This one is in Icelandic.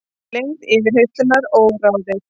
Lengd yfirheyrslunnar óráðin